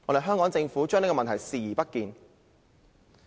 香港政府對問題視而不見。